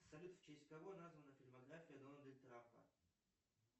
салют в честь кого названа фильмография дональда трампа